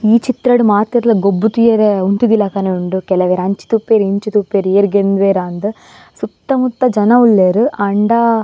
ಈ ಚಿತ್ರಡ್ ಮಾತೆರ್ಲ ಗೊಬ್ಬು ತೂಯರೆ ಉಂತಿದಿಲಕನೆ ಉಂಡು ಕೆಲವೆರ್ ಅಂಚಿ ತೂಪೆರ್ ಇಂಚಿ ತೂಪೆರ್ ಏರ್ ಗೆಂದುವೆರಾ ಅಂದ್ ಸುತ್ತ ಮುತ್ತ ಜನ ಉಲ್ಲೆರ್ ಆಂಡ --